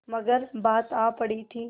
मगर बात आ पड़ी थी